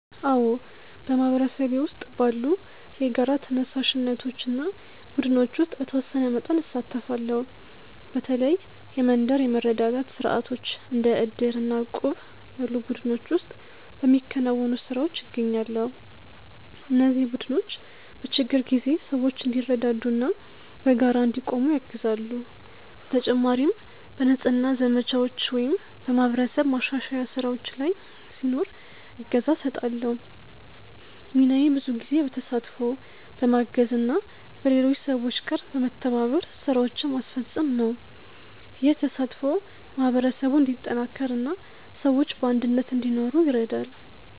አዎ፣ በማህበረሰቤ ውስጥ ባሉ የጋራ ተነሳሽነቶች እና ቡድኖች ውስጥ በተወሰነ መጠን እሳተፋለሁ። በተለይ የመንደር የመረዳዳት ስርዓቶች እንደ ዕድር እና እቁብ ያሉ ቡድኖች ውስጥ በሚከናወኑ ስራዎች እገኛለሁ። እነዚህ ቡድኖች በችግር ጊዜ ሰዎች እንዲረዳዱ እና በጋራ እንዲቆሙ ያግዛሉ። በተጨማሪም በንጽህና ዘመቻዎች ወይም በማህበረሰብ ማሻሻያ ስራዎች ላይ ሲኖር እገዛ እሰጣለሁ። ሚናዬ ብዙ ጊዜ በተሳትፎ፣ በማገዝ እና በሌሎች ሰዎች ጋር በመተባበር ስራዎችን ማስፈጸም ነው። ይህ ተሳትፎ ማህበረሰቡን እንዲጠናከር እና ሰዎች በአንድነት እንዲኖሩ ይረዳል።